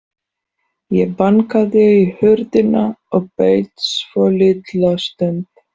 Ég bankaði á hurðina og beið svolitla stund.